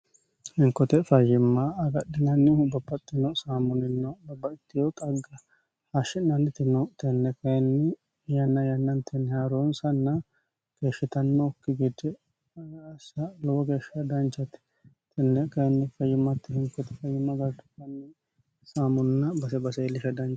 hinkote fayyimma agadhinannihu bobaxxino saamunino babattiho xagga hashshi'naaniti no tenne kayinni yanna yennantenni haaroonsanna keeshshitannokki gide assa lowo geeshsha danchate tenne kayinni fayimmatte hinkote fayimma gargaranni saamunna base base iilisha danchate.